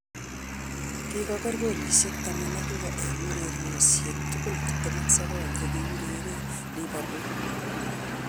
Kigoger golishek tamam ak lo, eng' ureryoshek tugul 29 che ki ureree liverpool